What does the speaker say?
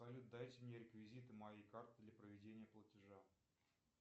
салют дайте мне реквизиты моей карты для проведения платежа